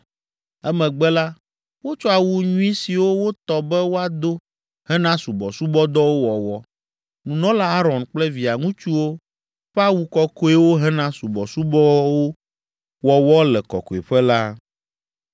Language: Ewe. Emegbe la, wotsɔ awu nyui siwo wotɔ be woado hena subɔsubɔdɔwo wɔwɔ, nunɔla Aron kple via ŋutsuwo ƒe awu kɔkɔewo hena subɔsubɔwo wɔwɔ le Kɔkɔeƒe la.